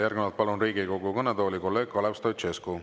Järgnevalt palun Riigikogu kõnetooli kolleeg Kalev Stoicescu.